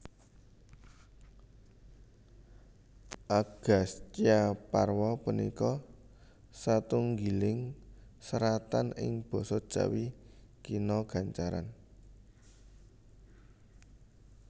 Agastyaparwa punika satunggiling seratan ing basa Jawi Kina gancaran